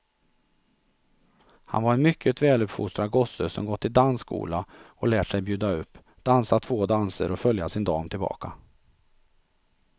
Han var en mycket väluppfostrad gosse som gått i dansskola och lärt sig bjuda upp, dansa två danser och följa sin dam tillbaka.